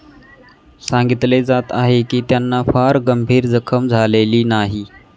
सांगितले जात आहे की त्यांना फार गंभीर जखम झालेली नाही.